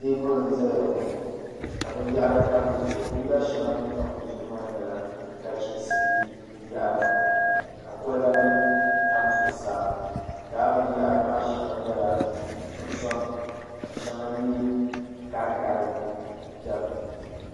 teebuli n-zaya ŋɔ ka binyɛhiri tam di zuɣu binyɛr' shɛŋa din tam di zuɣu maa nyɛnachiinsi binyɛhiri ka kolibanima tam zuɣusaa lala binyɛhiri maa shɛŋa nyɛla nuɣuso- ka shɛŋa nyɛ ɡariɡari m-beni